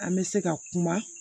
An bɛ se ka kuma